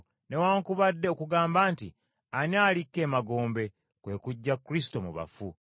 newaakubadde okugamba nti, ‘Ani alikka emagombe?’ (kwe kuggya Kristo mu bafu.)”